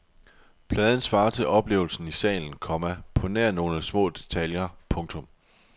Pladen svarer til oplevelsen i salen, komma på nær nogle små detaljer. punktum